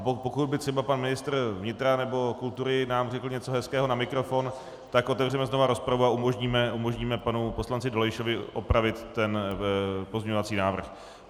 A pokud by třeba pan ministr vnitra nebo kultury nám řekl něco hezkého na mikrofon, tak otevřeme znovu rozpravu a umožníme panu poslanci Dolejšovi opravit ten pozměňovací návrh.